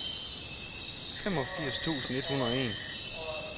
femogfirs tusind et hundrede og en